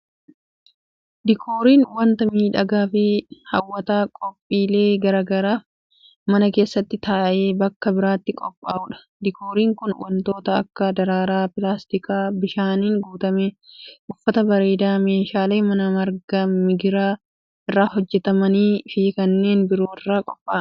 Diikooriin, wanta miidhagaa fi haw'ataa qophiilee garaa garaatif mana keessattis ta'e bakka biraatti qophaa'u dha. Diikooriin kun, wantoota akka:daraaraa, pilaastika bishaaniin guutame, uffata bareedaa, meeshaalee manaa marga migiraa irraa hojjatamanii fi kanneen biroo irraa qopha'a.